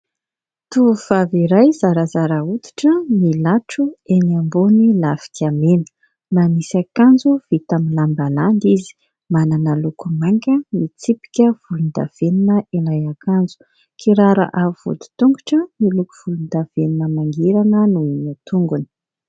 Tovovavy iray zarazara oditra milatro eny ambon'ny lafika mena. Manisy ankanjo vita amin'ny lamba landy izy. Manana loko manga mitsipika volon-davenona ilay akanjo. Kiraro amin'ny vodin-tongotra miloko volon-davenona mangirana no an-tongony.